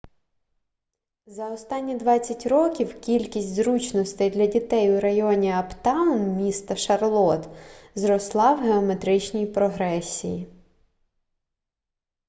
за останні 20 років кількість зручностей для дітей у районі аптаун міста шарлотт зросла в геометричній прогресії